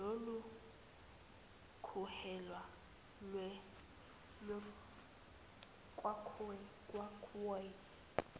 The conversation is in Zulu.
lola kuhelwa kwakhoi